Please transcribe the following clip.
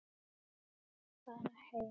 Fara heim.